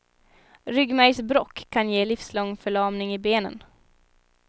Ryggmärgsbråck kan ge livslång förlamning i benen.